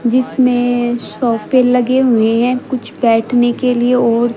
जिसमें सोफे लगे हुए है कुछ बैठने के लिए और--